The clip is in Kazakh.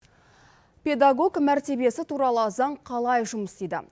педагог мәртебесі туралы заң қалай жұмыс істейді